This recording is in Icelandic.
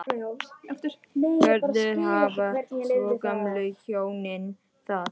Hvernig hafa svo gömlu hjónin það?